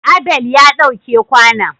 Abel ya ɗau ke kwanon.